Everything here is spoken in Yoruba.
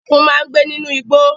Ẹkùn máa ń gbé nínú igbó.